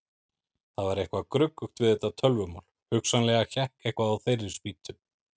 Það var eitthvað gruggugt við þetta tölvumál, hugsanlega hékk eitthvað á þeirri spýtu.